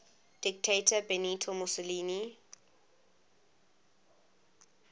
dictator benito mussolini